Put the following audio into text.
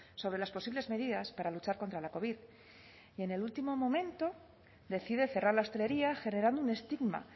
sobre las posibles medidas para luchar contra la covid y en el último momento decide cerrar la hostelería generando un estigma